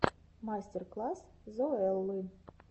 мастер класс зоэллы